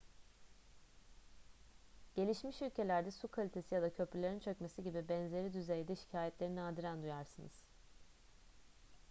gelişmiş ülkelerde su kalitesi ya da köprülerin çökmesi gibi benzeri düzeyde şikayetleri nadiren duyarsınız